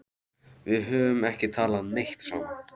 Við höfum ekki talað neitt saman.